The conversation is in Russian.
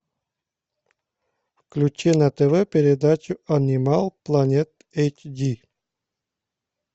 включи на тв передачу анимал планет эйч ди